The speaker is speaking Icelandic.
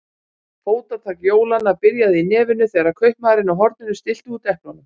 Fótatak jólanna byrjaði í nefinu þegar kaupmaðurinn á horninu stillti út eplunum.